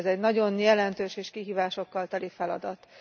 Ez egy nagyon jelentős és kihívásokkal teli feladat.